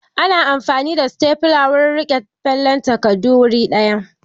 Ana amfani da setafula wurin riƙe fallen takardu wuri ɗaya.